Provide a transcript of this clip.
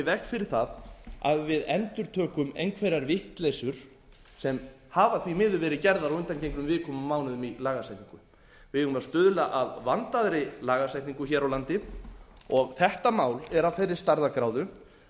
veg fyrir það að við endurtökum einhverjar vitleysu sem hafa því miður verið gerðar á undangengnum vikum og mánuðum í lagasetningu við eigum að stuðla að vandaðri lagasetningu hér á landi og þetta mál er af þeirri stærðargráðu